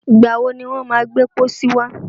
Ìgbà wọ ni wọ́n má gbẹ́ pọ́sí wá?